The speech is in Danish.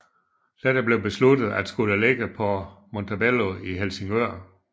Dette blev besluttet at skulle ligge på Montebello i Helsingør